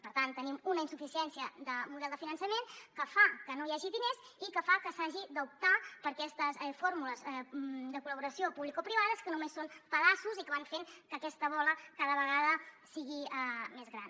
per tant tenim una insuficiència de model de finançament que fa que no hi hagi diners i que fa que s’hagi d’optar per aquestes fórmules de col·laboració publicoprivades que només són pedaços i que van fent que aquesta bola cada vegada sigui més gran